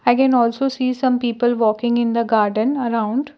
i can also see some people walking in the garden around.